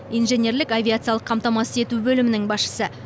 инженерлік авиациялық қамтамасыз ету бөлімінің басшысы